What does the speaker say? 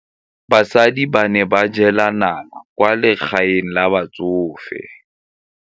Basadi ba ne ba jela nala kwaa legaeng la batsofe.